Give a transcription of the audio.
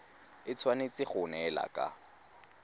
e tshwanetse go neelana ka